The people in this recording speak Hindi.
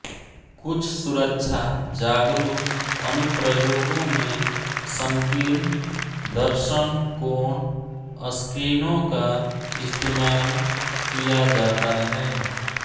कुछ सुरक्षा जागरूक अनुप्रयोगों में संकीर्ण दर्शन कोण स्क्रीनों का इस्तेमाल किया जाता है